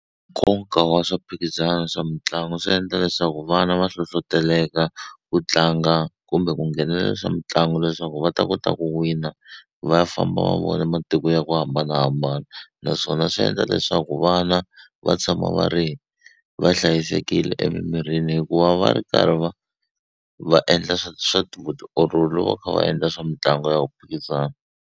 Nkoka wa swa mphikizano swa mitlangu swi endla leswaku vana va hlohloteleka ku tlanga kumbe ku nghenelela swa mitlangu leswaku va ta kota ku wina va famba va vona matiko ya ku hambanahambana naswona swi endla leswaku vana va tshama va ri va hlayisekile emimirini hikuva va ri karhi va va endla swa vutiolori loko va kha va endla swa mitlangu ya ku phikizana.